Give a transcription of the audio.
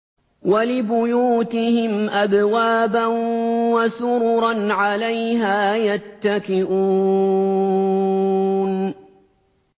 وَلِبُيُوتِهِمْ أَبْوَابًا وَسُرُرًا عَلَيْهَا يَتَّكِئُونَ